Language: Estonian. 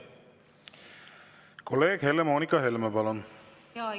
Kolleeg Helle-Moonika Helme, palun!